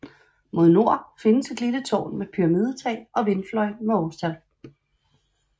Mod nord findes et lille tårn med pyramidetag og vindfløj med årstal